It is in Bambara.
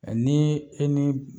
Ɛ ni e ni